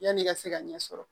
Yanni i ka se ka ɲɛ sɔrɔ